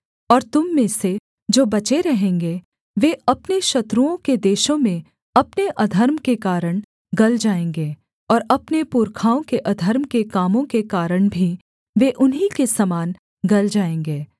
और तुम में से जो बचे रहेंगे वे अपने शत्रुओं के देशों में अपने अधर्म के कारण गल जाएँगे और अपने पुरखाओं के अधर्म के कामों के कारण भी वे उन्हीं के समान गल जाएँगे